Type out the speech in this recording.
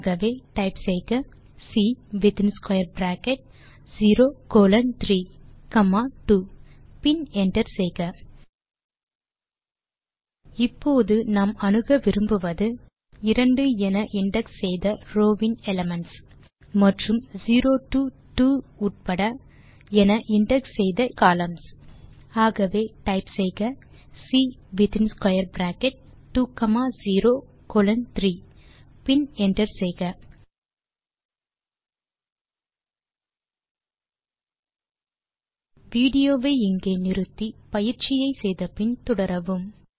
ஆகவே டைப் செய்க C within square bracket 0 colon 3 comma 2 பின் என்டர் செய்க இப்போது நாம் அணுக விரும்புவது 2 என இன்டக்ஸ் செய்த ரோவின் elements160 மற்றும் 0 டோ 2 உள்ளிட என இன்டக்ஸ் செய்த கொலம்ன்ஸ் ஆகவே டைப் செய்க C within square bracket 2 comma 0 colon 3 பின் என்டர் செய்க வீடியோ வை இங்கே நிறுத்தி பயிற்சியை செய்து முடித்து பின் தொடரவும்